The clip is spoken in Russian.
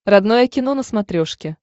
родное кино на смотрешке